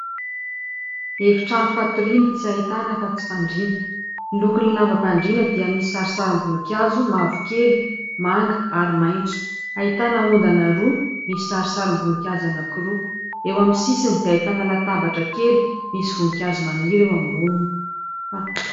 Efi_trano fatoriana tsy ahitana afa_tsy fandriana. Ny lokon'ny lambam_pandriana dia misy sarintsarim_boninkazo mavokely, manga ary maitso. Ahitana ondana roa misy sarintsarim_boninkazo anakiroa. Eo amin'ny sisiny dia ahitana latabatra kely misy voninkazo maniry eo amboniny.